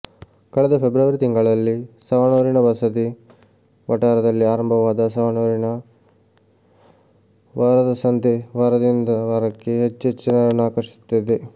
ಕಳೆದ ಫೆಬ್ರವರಿ ತಿಂಗಳಲ್ಲಿ ಸವಣೂರಿನ ಬಸದಿ ವಠಾರದಲ್ಲಿ ಆರಂಭವಾದ ಸವಣೂರಿನ ವಾರದ ಸಂತೆ ವಾರದಿಂದ ವಾರಕ್ಕೆ ಹೆಚ್ಚೆಚ್ಚು ಜನರನ್ನು ಆಕರ್ಷಿಸುತ್ತಿದೆ